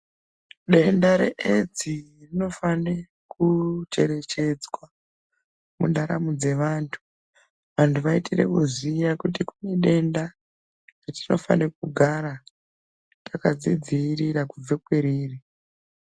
Denda reedzi rinofane kucherechedzwa mundaramo dzevantu. Vantu vaitire kuziya kuti kunedenda ratinefanira kugara takadzidziirira kubva kweriri.